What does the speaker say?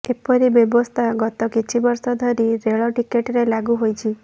ଏପରି ବ୍ୟବସ୍ଥା ଗତି କିଛି ବର୍ଷ ଧରି ରେଳ ଟିକେଟରେ ଲାଗୁ ହୋଇଛି